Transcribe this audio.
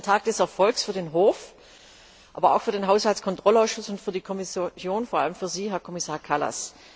Heute ist ein Tag des Erfolgs für den Hof, aber auch für den Haushaltskontrollausschuss und für die Kommission, vor allem für Sie, Herr Kommissar Kallas.